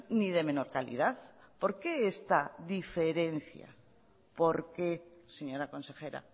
ni de menor calidad por qué esta diferencia por qué señora consejera